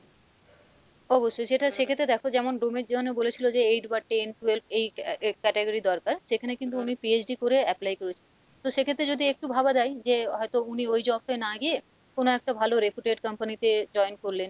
অবশ্যই সেটা সেক্ষেত্রে দেখো যেমন ডোমের জন্য বলেছিলো যে eight বা ten twelve এই category দরকার, সেখানে কিন্তু উনি PhD করে apply করেছেন তো সেক্ষেত্রে যদি একটু ভাবা যাই যে হয়তো উনি ওই job টাই না গিয়ে কোনো একটা ভালো reputed company তে join করলেন,